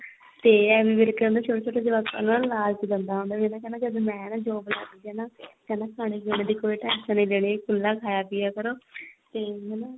ਤੇ ਐਮੀ ਵਿਰਕ ਛੋਟੇ ਛੋਟੇ ਜਵਾਕ ਉਹਨਾ ਨੂੰ ਲਾਲਚ ਦਿੰਦਾ ਹੁੰਦਾ ਵੀ ਜਦ ਮੈਂ ਨਾ job ਲੱਗ ਗਿਆ ਨਾ ਕਹਿੰਦਾ ਨਾ ਖਾਣੇ ਪੀਣੇ ਦੀ ਕੋਈ tension ਨੀ ਲੈਣੀ ਖੁੱਲਾ ਖਾਇਆ ਪਿਆ ਕਰੋ ਤੇ ਹਨਾ